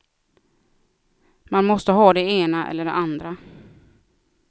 Man måste ha det ena eller det andra.